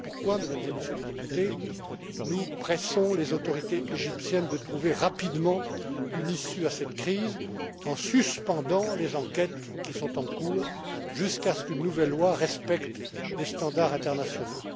Voilà pourquoi, Mesdames et Messieurs les députés, nous pressons les autorités égyptiennes de trouver rapidement une issue à cette crise en suspendant les enquêtes qui sont en cours jusqu'à ce qu'une nouvelle loi respecte les standards internationaux.